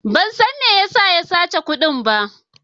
Ban san me ya sa ya sace kudin ba.